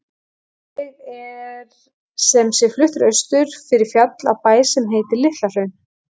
Ég er sem sé fluttur austur fyrir fjall, á bæ sem heitir LitlaHraun.